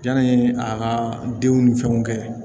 Yanni a ka denw ni fɛnw kɛ